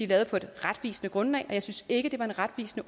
lavet på et retvisende grundlag jeg synes ikke det var en retvisende